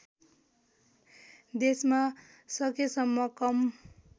देशमा सकेसम्म कम